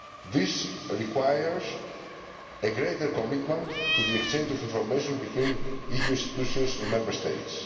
This requires a greater commitment to the exchange of information between EU institutions and the Member States.